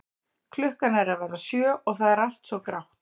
Klukkan er að verða sjö og það er allt svo grátt.